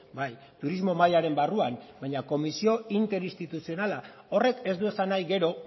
bai turismo mahaiaren barruan baina komisio interinstituzionala horrek ez du esan nahi gero